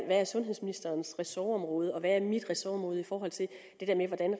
er sundhedsministerens ressortområde og hvad der er mit ressortområde i forhold til det der med hvordan